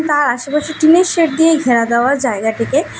তার আশেপাশে টিনের শেড দিয়ে ঘেরা দেওয়ার জায়গাটিকে--